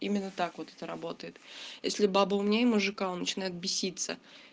именно так вот это работает если баба умнее мужика он начинает беситься